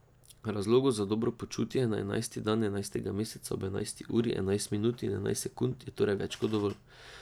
Razlogov za dobro počutje na enajsti dan enajstega meseca ob enajsti uri, enajst minut in enajst sekund je torej več kot dovolj.